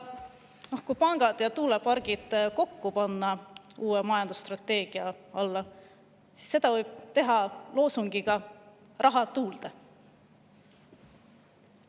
Aga kui pangad ja tuulepargid panna kokku uue majandusstrateegia alla, siis võib seda teha loosungiga "Raha tuulde".